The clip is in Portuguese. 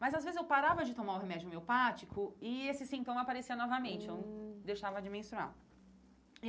Mas, às vezes, eu parava de tomar o remédio miopático e esse sintoma aparecia novamente, hum eu deixava de menstruar.